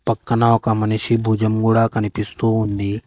పక్కన ఒక మనిషి భుజం కూడా కనిపిస్తూ ఉంది.